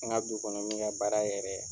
N ka du kɔnɔ min ka baara yɛrɛ